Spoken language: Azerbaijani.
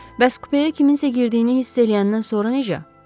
Bəs kupyə kiminsə girdiyini hiss eləyəndən sonra necə?